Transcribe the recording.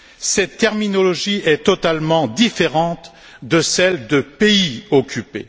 Cette terminologie est totalement différente de celle de pays occupé.